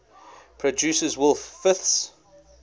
produces wolf fifths